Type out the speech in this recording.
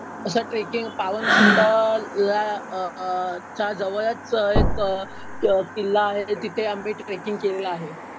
असं ट्रेकिंग पावनखिंडला च्या जवळच एक किल्ला आहे. तिथे आम्ही ट्रेकिंग केलेलं आहे.